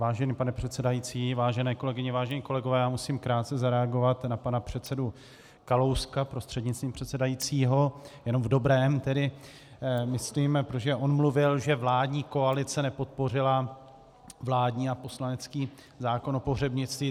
Vážený pane předsedající, vážené kolegyně, vážení kolegové, já musím krátce zareagovat na pana předsedu Kalouska prostřednictvím předsedajícího, jenom v dobrém tedy myslím, protože on mluvil, že vládní koalice nepodpořila vládní a poslanecký zákon o pohřebnictví.